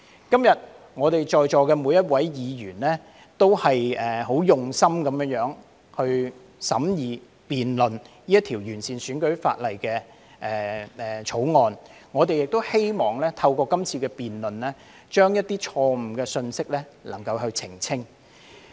今天在席的每位議員很用心地審議和辯論這項旨在完善選舉法例的《條例草案》，我們亦希望透過今次辯論，能夠澄清一些錯誤的信息。